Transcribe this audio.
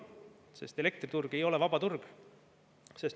Sest elektriturg ei ole vaba turg.